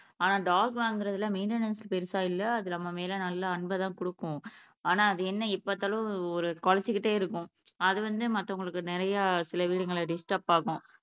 ஆனா டாக் வாங்குறதுல மெயின்டெனன்ஸ் பெருசா இல்ல அது நம்ம மேல அன்ப தான் குடுக்கும் ஆனா அது என்ன எப்பபாத்தாலும் குலைச்சுகிட்டே இருக்கும் அது வந்து மத்தவங்களுக்கு நிறைய சில வீடுகள்ல டிஸ்டர்ப் ஆகும்